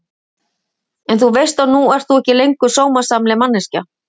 En þú veist að nú ert þú ekki lengur sómasamleg manneskja.